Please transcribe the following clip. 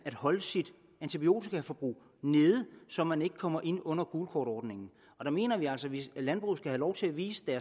at holde sit antibiotikaforbrug nede så man ikke kommer ind under gult kort ordningen og der mener vi altså at landbruget have lov til at vise